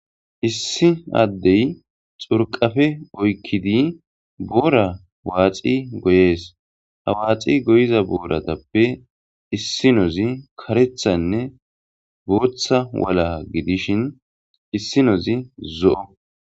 issi addey xurqafe oykkidi boora waaxi goyees ha waaxi goyiza booratappe issinozi karethanne booththa wala gidishin issinozi zo7o